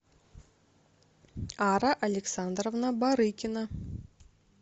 ара александровна барыкина